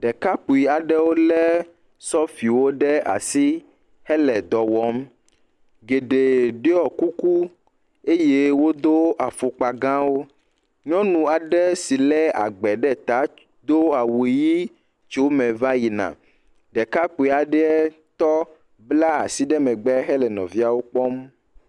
Ɖekakpui aɖewo le sofiwo ɖe asi hele dɔ wɔm. Geɖe ɖɔ kuku eye wodo afɔkpa gãwo. Nyɔnu aɖe si le agbe ɖe ta do awu ʋi tso eme va yina. Ɖekakpui aɖe tɔ bla asi ɖe megbe hele nɔviawo kpɔm.